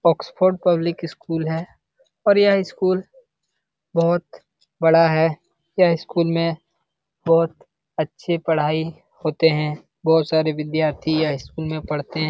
Oxford public school है। और यह इस स्कूल बहुत बड़ा है। यह इस स्कूल में बहुत अच्छी पढाई होते है। बहुत सारे विधार्थी यह इस स्कूल में पढ़ते है।